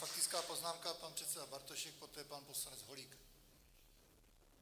Faktická poznámka, pan předseda Bartošek, poté pan poslanec Holík.